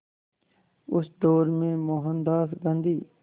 उस दौर में मोहनदास गांधी